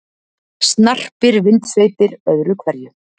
Snarpir vindsveipir öðru hverju.